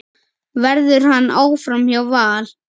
Verður hann áfram hjá Val?